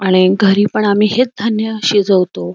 अरे घरी पण आम्ही हेच धान्य शिजवतो.